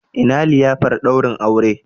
Ina liyafar daurin aure?